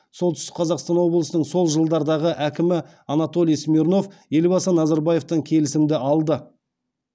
солтүстік қазақстан облысының сол жылдардағы әкімі анатолий смирнов елбасы назарбаевтан келісімді алды